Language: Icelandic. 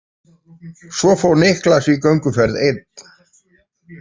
Svo fór Niklas í gönguferð einn.